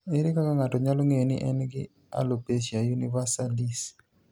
Ere kaka ng'ato nyalo ng'eyo ni en gi alopecia universalis?